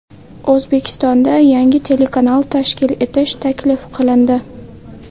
O‘zbekistonda yangi telekanal tashkil etish taklif qilindi.